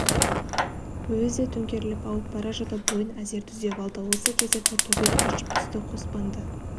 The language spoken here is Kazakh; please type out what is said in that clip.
өзі де төңкеріліп ауып бара жатып бойын әзер түзеп алды осы кезде тортөбел ыршып түсті қоспанды